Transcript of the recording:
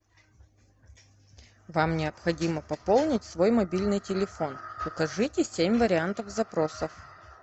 вам необходимо пополнить свой мобильный телефон укажите семь вариантов запросов